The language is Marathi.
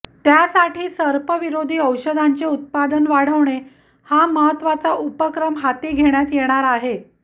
त्यासाठी सर्पविरोधी औषधांचे उत्पादन वाढवणे हा महत्त्वाचा उपक्रम हाती घेण्यात येणार आहे